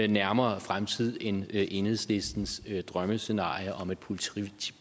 nærmere fremtid end enhedslistens drømmescenarie om et